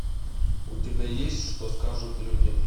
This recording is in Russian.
у тебя есть что скажут люди